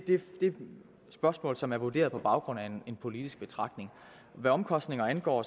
et spørgsmål som er vurderet på baggrund af en politisk betragtning hvad omkostninger angår